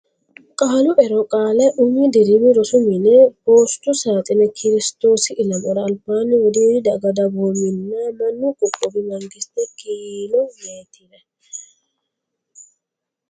Qaalu Ero Qaale Umi Dirimi Rosi mine Poostu Saaxine Kiristoosi Ilamara Albaanni Wodiidi Daga Dagoominna Manni Qooqowi Mangiste Kiilo Meetire.